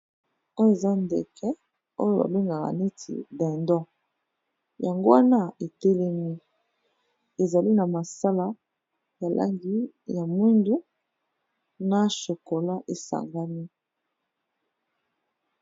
Oyo eza ndeke oyo ba bengaka neti dindon, yango wana e telemi, ezali na ma sala ya langi ya moyindo na chokolat e sangani .